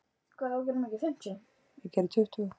Evelyn, ferð þú með okkur á þriðjudaginn?